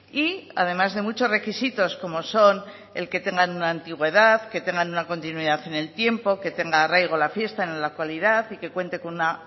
y además de muchos requisitos como son el que tengan una antigüedad que tengan una continuidad en el tiempo que tenga arraigo la fiesta en la actualidad y que cuente con una